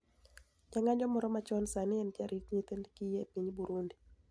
Ja nig'anijo moro machoni sanii eni jarit niyithi kiye e piniy Burunidi